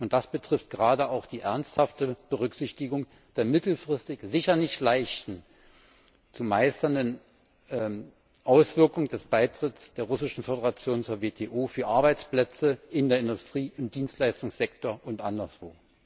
Das betrifft gerade auch die ernsthafte Berücksichtigung der mittelfristig sicher nicht leicht zu meisternden Auswirkungen des Beitritts der Russischen Föderation zur WTO für Arbeitsplätze in der Industrie, im Dienstleistungssektor und anderswo.